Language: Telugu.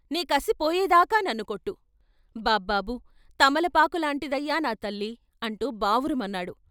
నీ కసిపోయే దాకా నన్ను కొట్టు, బాబ్బాబు తమలపాకు లాంటిదయ్యా నా తల్లి ' అంటూ బావురుమన్నాడు.